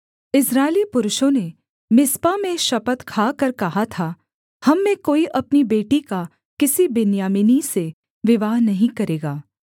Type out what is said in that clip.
इस्राएली पुरुषों ने मिस्पा में शपथ खाकर कहा था हम में कोई अपनी बेटी का किसी बिन्यामीनी से विवाह नहीं करेगा